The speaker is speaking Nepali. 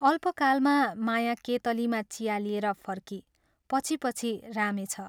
अल्पकालमा माया केतलीमा चिया लिएर फर्की पछि पछि रामे छ।